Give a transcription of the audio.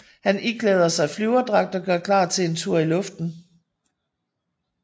Han iklæder sig flyverdragt og gør klar til en tur i luften